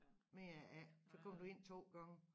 Mere er det ikke så kom du ind 2 gange